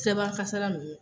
Sirabakan kasara ninnu